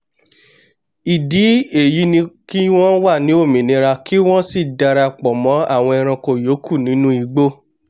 ìdí èyí ni pé kí wọ́n wà ní òmìnira kí wọ́n sì darapọ̀ mọ́n àwọn ẹranko ìyókù nínú igbó